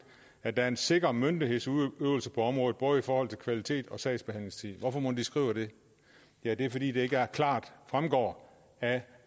at der er en sikker myndighedsudøvelse på området både i forhold til kvalitet og sagsbehandlingstid hvorfor mon de skriver det ja det er fordi det ikke klart fremgår af